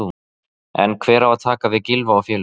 En hver á að taka við Gylfa og félögum?